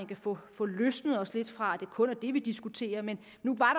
kan få få løsnet os lidt fra at det kun er det vi diskuterer men nu var